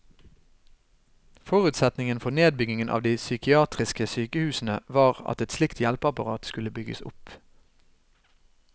Forutsetningen for nedbyggingen av de psykiatriske sykehusene var at et slikt hjelpeapparat skulle bygges opp.